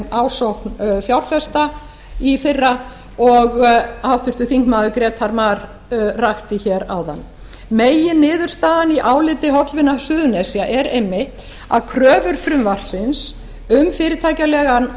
ásókn fjárfesta í fyrra og háttvirtir þingmenn grétar mar rakti hér áðan meginniðurstaðan í áliti hollvina suðurnesja er einmitt að kröfur frumvarpsins um fyrirtækjalegan